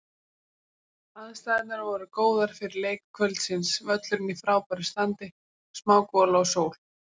Aðstæðurnar voru góðar fyrir leik kvöldsins, völlurinn í frábæra standi, smá gola og sól.